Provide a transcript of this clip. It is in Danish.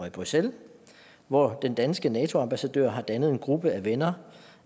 i bruxelles hvor den danske nato ambassadør har dannet en gruppe af venner